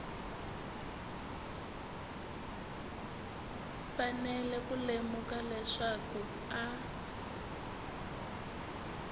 fanele ku lemuka leswaku a